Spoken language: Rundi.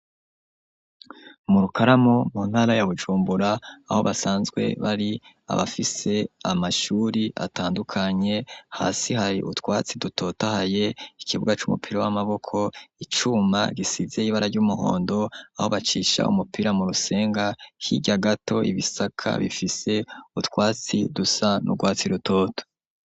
Murukaramo mu ntara ya Bujumbura aho basanzwe bari abafise amashure atandukanye hasi hari utwatsi dutotahaye ikibuga c'umupira w'amaboko icuma gisize ibara ry'umuhondo aho bacisha umupira mu rusenga hirya gato ibisaka bifise utwatsi dusa n'urwatsi rutoto.